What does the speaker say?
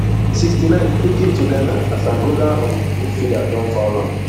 sixty-nine freekick to ghana as angolan um midfielder don foul am